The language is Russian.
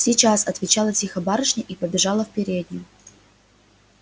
сейчас отвечала тихо барышня и побежала в переднюю